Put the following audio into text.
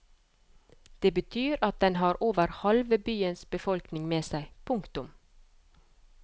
Det betyr at den har over halve byens befolkning med seg. punktum